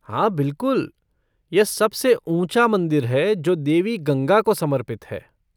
हाँ बिलकुल, यह सबसे ऊँचा मंदिर है जो देवी गंगा को समर्पित है।